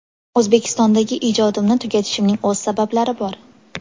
O‘zbekistondagi ijodimni tugatishimning o‘z sabablari bor.